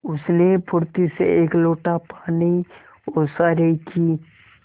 उसने फुर्ती से एक लोटा पानी ओसारे की